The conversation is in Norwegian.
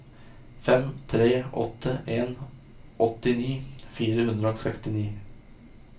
fem tre åtte en åttini fire hundre og sekstini